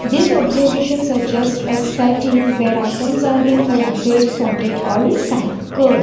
this observation suggest a setting where items are being collected sorted or recycled.